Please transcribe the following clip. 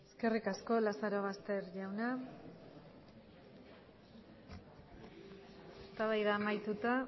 eskerrik asko lazarobaster jauna eztabaida amaituta